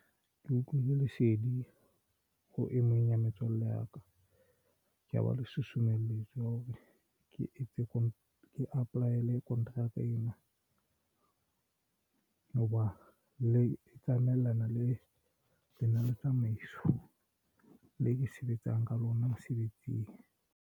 Ke utlwile lesedi ho emeng ya metswalle ya ka ba le susumeletswa hore ke etse ko apply-ele kontraka ena ya hoba le tsamaellana le lenaneotsamaiso le ke sebetsang ka lona mosebetsing.